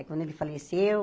É quando ele faleceu,